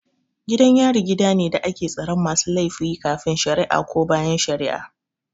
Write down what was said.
Gidan yari gidane da ake tsaron masu laifin kafin shara'a ko bayan shara'a